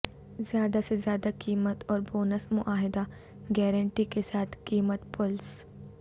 زیادہ سے زیادہ قیمت اور بونس معاہدہ گارنٹی کے ساتھ قیمت پلس